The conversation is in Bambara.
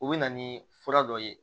U bɛ na ni fura dɔ ye